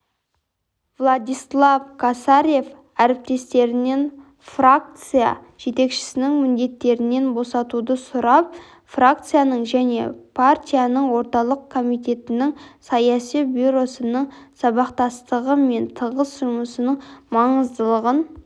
владислав косарев әріптестерінен фракция жетекшісінің міндеттерінен босатуды сұрап фракцияның және партияның орталық комитетінің саяси бюросының сабақтастығы мен тығыз жұмысының маңыздылығын